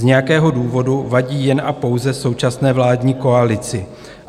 Z nějakého důvodu vadí jen a pouze současné vládní koalici.